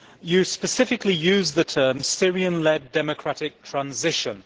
She specifically used the term Syrian led democratic transition'.